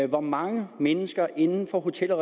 hvor mange mennesker inden for hotel og